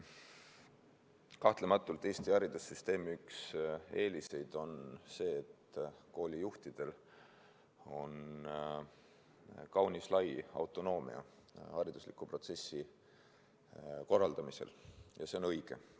Kahtlematult Eesti haridussüsteemi üks eeliseid on see, et koolijuhtidel on kaunis lai autonoomia haridusliku protsessi korraldamisel, ja see on õige.